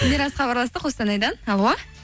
мирас хабарласты қостанайдан алло